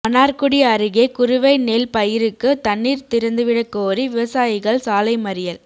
மன்னார்குடி அருகே குறுவை நெல் பயிருக்கு தண்ணீர் திறந்துவிடக் கோரி விவசாயிகள் சாலை மறியல்